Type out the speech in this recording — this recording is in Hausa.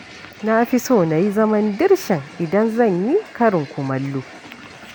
Na fi son na yi zaman dirshan idan zan yi karin kumallo.